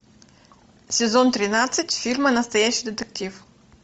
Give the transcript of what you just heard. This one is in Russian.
сезон тринадцать фильма настоящий детектив